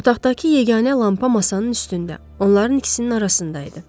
Otaqdakı yeganə lampa masanın üstündə, onların ikisinin arasında idi.